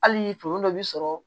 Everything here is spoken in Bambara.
Hali tonso dɔ bi sɔrɔ